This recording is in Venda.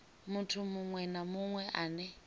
muthu munwe na munwe ane